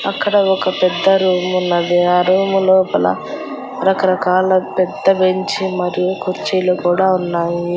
అక్కడ ఒక పెద్ద రూమున్నది ఆ రూము లోపల రకరకాల పెద్ద బెంచి మరియు కుర్చీలు కూడా ఉన్నాయి.